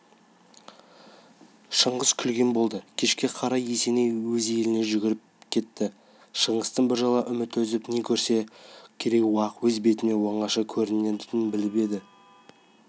шыңғыс күлген болды кешке қарай есеней өз еліне жүріп кетті шыңғыстан біржола үміт үзіп не көрсе де керей-уақ өз бетімен оңаша көрерін біліп кетті